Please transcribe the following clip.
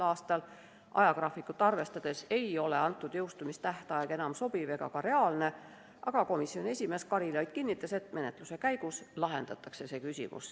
a. Ajagraafikut arvestades ei ole antud jõustumistähtaeg enam sobiv ega ka reaalne, aga komisjoni esimees Karilaid kinnitas, et menetluse käigus see küsimus lahendatakse.